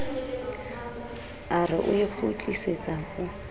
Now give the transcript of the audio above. a re o ikgutlisetsa o